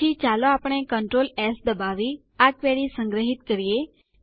પછી ચાલો આપણે કન્ટ્રોલ એસ દબાવી આ ક્વેરી સંગ્રહિત કરીએ